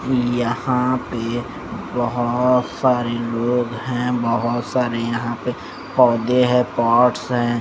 यहाँ पे बहुत सारे लोग हैं बहुत सारे यहाँ पे पौधे हैं पॉट्स हैं।